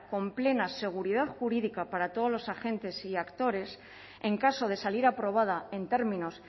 con plena seguridad jurídica para todos los agentes y actores en caso de salir aprobada en términos